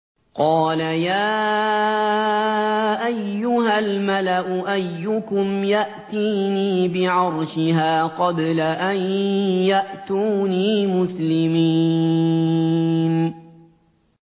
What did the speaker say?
قَالَ يَا أَيُّهَا الْمَلَأُ أَيُّكُمْ يَأْتِينِي بِعَرْشِهَا قَبْلَ أَن يَأْتُونِي مُسْلِمِينَ